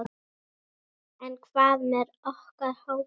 En hvað með okkar hóp?